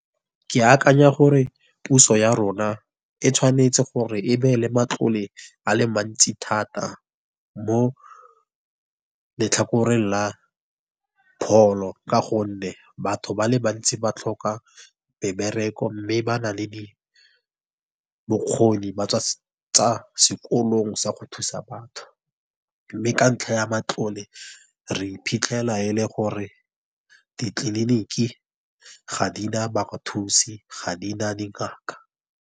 Ke akanya gore puso ya rona e tshwanetse gore e beele matlole a le mantsi thata mo letlhakore la pholo, ka gonne batho ba le bantsi ba tlhoka ba mebereko, mme ba nang le di bokgoni ba tsa sekolong sa go thusa batho. Mme ka ntlha ya matlole re iphitlhela e le gore ditleliniki ga di na ba thusi ga di na dingaka.